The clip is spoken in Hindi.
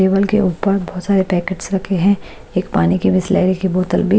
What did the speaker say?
टेबल के ऊपर बहोत सारे पैकेट्स रखे है एक पानी की बिशलेरी की बोतल भी--